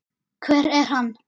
hver er hann?